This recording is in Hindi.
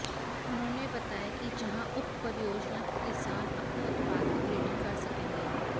उन्होंने बताया कि जहां उप परियोजना के किसान अपने उत्पाद की ग्रेडिंग कर सकेंगे